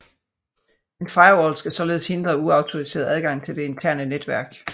En firewall skal således hindre uautoriseret adgang til det interne netværk